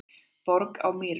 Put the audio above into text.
Borg á Mýrum